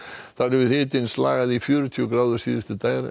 þar hefur hitinn slagað í fjörutíu gráður síðustu